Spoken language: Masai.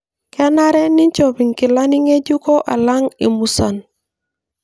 Kenare ninchop inkilani nge'juko alang imusan.